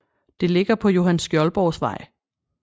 Det ligger på Johan Skjoldborgs Vej